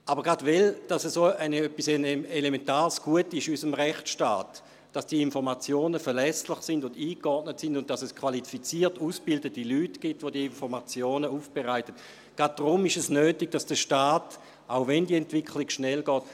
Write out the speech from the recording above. Gerade weil es ein dermassen elementares Gut ist in unserem Rechtsstaat, dass die Informationen verlässlich und eingeordnet sind und dass es qualifiziert ausgebildete Leute gibt, die diese Informationen aufbereiten – gerade deshalb ist es notwendig, dass der Staat handelt, wenngleich diese Entwicklung schnell geht.